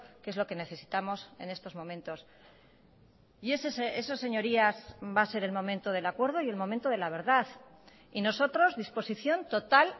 que es lo que necesitamos en estos momentos y eso señorías va a ser el momento del acuerdo y el momento de la verdad y nosotros disposición total